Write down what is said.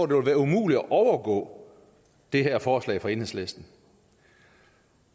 vil være umuligt at overgå det her forslag fra enhedslisten